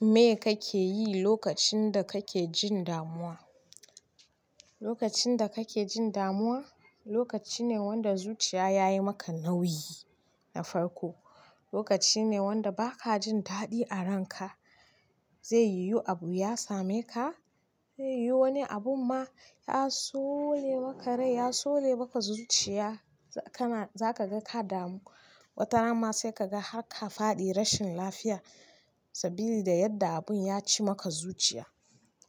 Me kake yi lokacin da kake jin damuwa? Lokacin da kake jin damuwa, lokaci ne wanda zuciya ya yi maka nauyi na farko. Lokaci ne wanda ba ka jin daɗi a ranka. Zai yiwu abu ya same ka, zai yiwu wani abun ma ya sole maka rai, ya sole maka zuciya. Zaka ga ka damu. Watarana ma sai ka ga har ka faɗi rashin lafiya saboda yadda abun ya ci maka zuciya.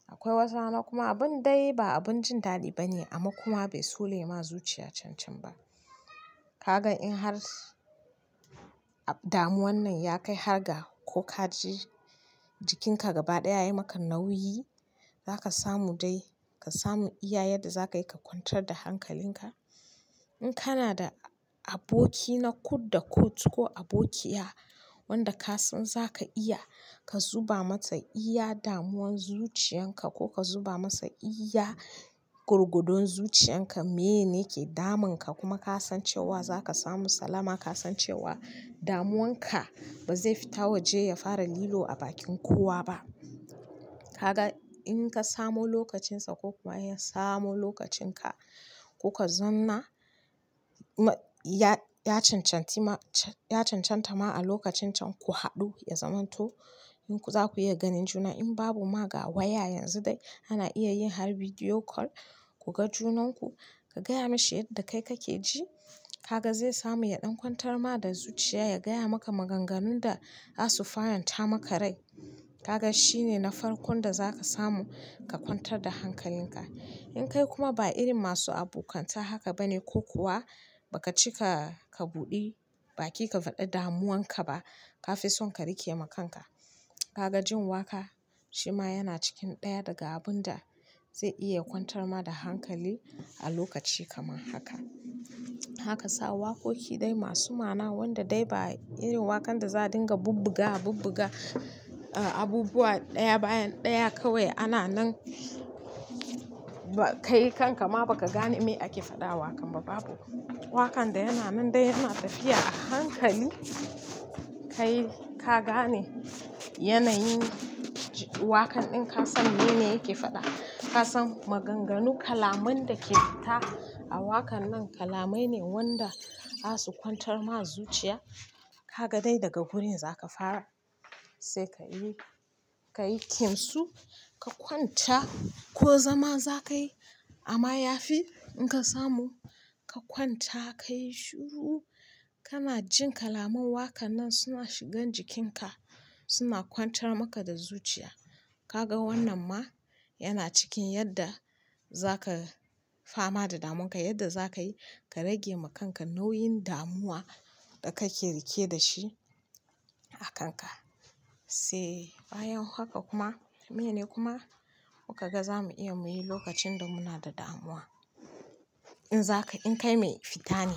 Akwai wasu hakan kuma abin dai ba abin jin daɗi bane amma kuma bai tsole ma zuciya cancan ba. Kaga in har damuwan nan ya kai har ga ko ka ji jikinka gaba ɗaya ya yi maka nauyi, zaka samu dai ka samu iya yadda za ka yi ka kwantar da hankalinka. In kana da aboki na kud da kud ko abokiya wanda ka san za ka iya ka zuba mata iya damuwan zuciyarka ko ka zuba masa iya gorgodon zuciyarka, miye ne ke damunka kuma ka san cewa za ka samu salama, ka san cewa damuwanka ba zai fita waje ya fara lilo a bakin kowa ba. Kaga in ka samo lokacinsa ko kuma in ya samo lokacinka, ku kazauna ya cancanti ma, ya cancanta ma a lokacin can ku haɗu, ya zama to za ku iya ganin juna. In babu ma, ga waya yanzu dai ana iya yin har video call ku ga junanku, ka gaya mashi yadda kai kake ji. Kaga zai samu ya ɗan kwantar ma da zuciya, ya gaya maka maganganun da za su faranta maka rai. Kaga shi ne na farkon da za ka samu ka kwantar da hankalinka. In kai kuma ba irin masu abokanta haka bane ko kuwa ba ka cika ka buɗe bakin ka faɗa damuwanka ba, ka fi son ka rike ma kanka, kaga jin wakƙa shi ma yana cikin ɗaya daga abun da zai iya kwantar ma da hankali a lokaci kamar haka. Za ka sa waƙoƙi dai masu ma'ana wanda dai ba irin wakan da za a dinga bubbuga bubbuga, abubuwa ɗaya bayan ɗaya kawai ana nan ba ka yi kan ka ma ba ka gane me ake faɗa wakan ba, babu. Wakan da yana nan dai yana tafiya a hankali. Kai ka gane yanayin wakan ɗin, ka san mene yake faɗa. Ka san maganganu kalaman da ke fita a waƙan nan kalamai ne wanda za su kwantar ma zuciya. Kaga dai daga wurin za ka fara, sai ka yi, ka yi kimsu, ka kwanta ko zama za ka yi amma ya fi in ka samu ka kwanta ka yi shiru. Kana jin kalaman wakan nan suna shigan jikinka, suna kwantar maka da zuciya. Kaga wannan ma yana cikin yadda za ka fama da damunka, yadda za ka yi ka rage ma kanka nauyin damuwa da kake rike da shi a kanka. Sai bayan haka kuma, mene kuma muka ga za mu iya muyi lokacin da muna da damuwa? In zaka, in kai mai fita ne,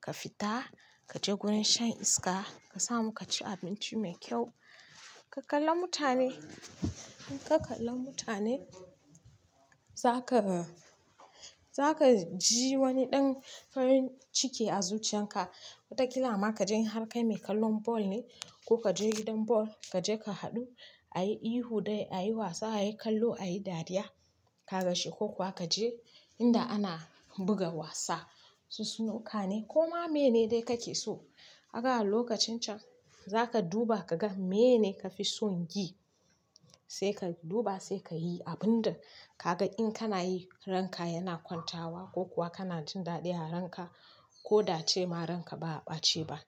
ka fita, ka je gurin shan iska, ka samu ka ci abinci mai kyau, ka kalla mutane. In ka kalla mutane, za ka, za ka ji wani ɗan farin ciki a zuciyarka. Watakila ma ka je in har kai mai kallon ball ne ko ka je gidan ball, ka je ka haɗu, a yi ihu dai a yi wasa, a yi kallo, a yi dariya. Kaga shi ko kuwa ka je inda ana buga wasa, su snooker ne ko ma mene dai kake so. Ka ga a lokacin can za ka duba ka ga mene ka fi son yi, sai ka duba sai ka yi abun da kaga in kana yi ranka yana kwantawa ko kuwa kana jin daɗi a ranka ko da a ce ma ranka ba a ɓace ba.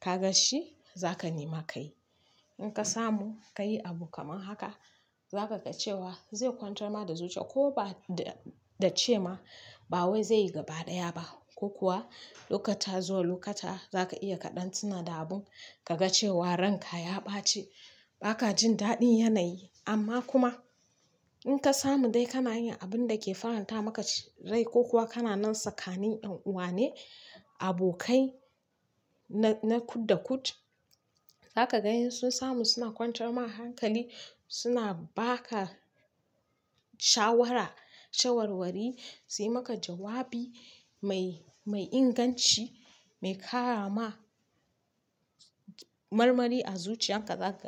Kaga shi za ka nema ka yi. In ka samu ka yi abu kamar haka, za ka ga cewa zai kwantar ma da zuciya ko ba da-da ce ma ba wai zai yi gaba ɗaya ba ko kuwa lokata zuwa lokata za ka iya ka ɗan tina da abun ka ga cewa ranka ya ɓaci ba ka jin daɗin yanayi. Amma kuma in ka samu dai kana yin abun da ke faranta maka rai ko kuwa kana nan sakanin ɗan uwa ne, abokai na-na kud da kud, za ka ga in sun samu suna kwantar ma hankali suna ba ka shawara, shawarwari, su yi ma ka jawabi mai inganci, mai ƙara ma marmari a zuciyarka za ka ga.